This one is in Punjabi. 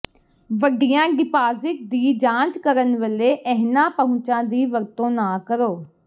ਵੱਡੀਆਂ ਡਿਪਾਜ਼ਿਟ ਦੀ ਜਾਂਚ ਕਰਨ ਵੇਲੇ ਇਹਨਾਂ ਪਹੁੰਚਾਂ ਦੀ ਵਰਤੋਂ ਨਾ ਕਰੋ